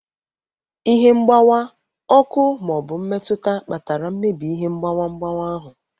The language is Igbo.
Ihe mgbawa, ọkụ ma ọ bụ mmetụta kpatara mmebi ihe mgbawa mgbawa ahụ.